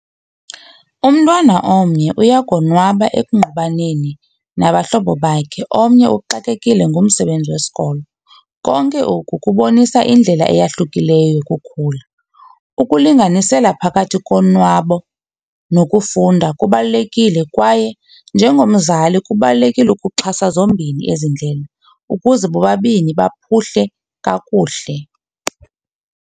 Umntwana omnye uyakonwaba ekungqubaneni nabahlobo bakhe, omnye uxakekile ngumsebenzi wesikolo. Konke oku kubonisa indlela eyahlukileyo yokukhula. Ukulinganisela phakathi konwabo nokufunda kubalulekile kwaye njengomzali kubalulekile ukuxhasa zombini ezi ndlela ukuze bobabini baphuhle kakuhle.